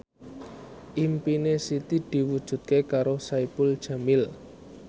impine Siti diwujudke karo Saipul Jamil